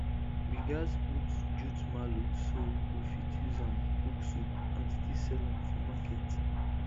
we gats put jute mallow so we go fit use am cook soup and still sell am for market